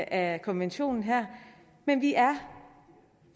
af konventionen her men vi er